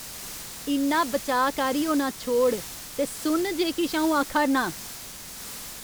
इन्ना बचाऽकारी होना छोड़ ते सुन जे किश अ'ऊं आखा'रनां ।